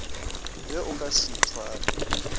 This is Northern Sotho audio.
ge o ka se itshware